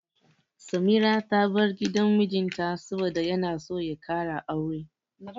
Samira ta bar gidan mijinta saboda yana so ya ƙara aure.